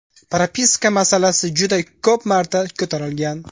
Propiska masalasi juda ko‘p marta ko‘tarilgan.